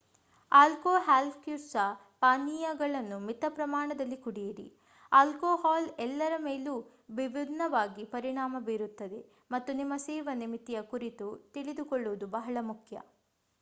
ಆಲ್ಕೊಹಾಲ್ಯುಕ್ತ ಪಾನೀಯಗಳನ್ನು ಮಿತ ಪ್ರಮಾಣದಲ್ಲಿ ಕುಡಿಯಿರಿ ಆಲ್ಕೊಹಾಲ್ ಎಲ್ಲರ ಮೇಲೂ ವಿಭಿನ್ನವಾಗಿ ಪರಿಣಾಮ ಬೀರುತ್ತದೆ ಮತ್ತು ನಿಮ್ಮ ಸೇವನೆ ಮಿತಿಯ ಕುರಿತು ತಿಳಿದುಕೊಳ್ಳುವುದು ಬಹಳ ಮುಖ್ಯ